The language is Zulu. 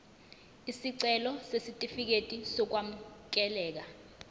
isicelo sesitifikedi sokwamukeleka